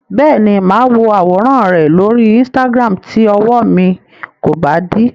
Bẹ́ẹ̀ni, máa wo àwòràn rẹ lóri Instagram tí ọwọ mi kò bá dí.